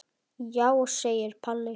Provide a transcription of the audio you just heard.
Já, segir Palli.